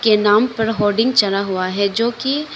इनाम पर होर्डिंग चढ़ा हुआ है जो की।